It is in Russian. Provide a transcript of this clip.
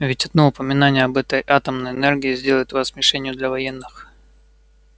ведь одно упоминание об атомной энергии сделает вас мишенью для военных